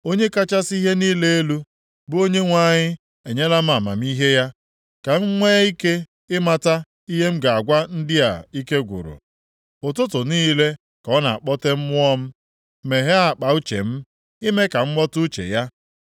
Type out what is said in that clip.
Onye kachasị ihe niile elu, bụ Onyenwe anyị enyela m amamihe ya ka m nwee ike ịmata ihe m ga-agwa ndị a ike gwụrụ. Ụtụtụ niile ka ọ na-akpọte mmụọ m, meghee akpa uche m, ime ka m ghọta uche ya.